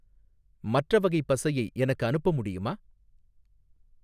மற்ற வகை பசையை எனக்கு அனுப்ப முடியுமா?